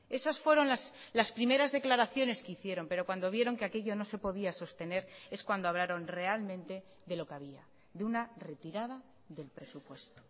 esos fueron las primeras declaraciones que hicieron pero cuando vieron que aquello no se podía sostener es cuando hablaron realmente de lo que había de una retirada del presupuesto